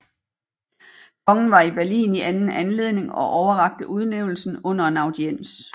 Kongen var i Berlin i anden anledning og overrakte udnævnelsen under en audiens